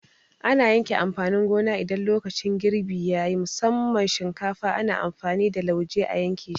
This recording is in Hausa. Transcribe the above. Ana yanke amfanin gona idan lokacin girbi yayi, musamman shinkafa ana amfani da lauje a yanke shi